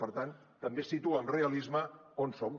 per tant també situa amb realisme on som